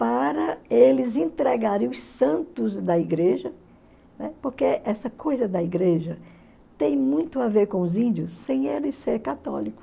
para eles entregarem os santos da igreja, né, porque essa coisa da igreja tem muito a ver com os índios, sem eles ser católicos.